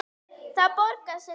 Það borgar sig ekki